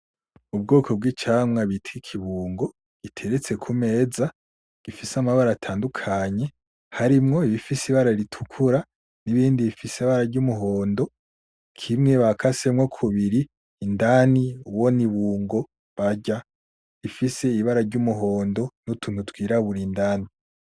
Ubwoko bwicamwa bita ikibungo giteretse kumeza gifise amabara atandukanye harimwo ibifise ibara ritukura nibindi bifise ibara ryumuhondo kimwe bakasemwo kubiri indani ubona ibungo barya ifise ibara ryumuhondo nutuntu twirabura indani .